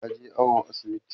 taje awo asibiti